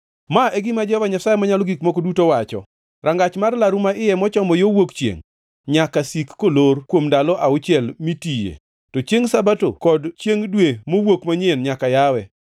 “ ‘Ma e gima Jehova Nyasaye Manyalo Gik Moko Duto wacho: Rangach mar laru maiye mochomo yo wuok chiengʼ nyaka sik kolor kuom ndalo auchiel mitiye, to chiengʼ Sabato kod chiengʼ Dwe Mowuok Manyien nyaka yawe.